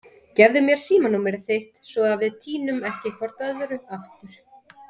Gefðu mér símanúmerið þitt svo við týnum ekki hvort öðru aftur.